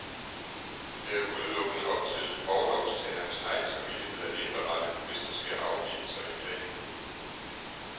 Det er udelukkende op til orlovstagerens egen samvittighed at indberette, hvis der sker afgivelser i planen.